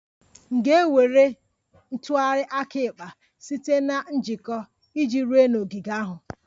M ga-ewere ntụgharị aka ekpe site na njikọ iji ruo n'ogige ahụ?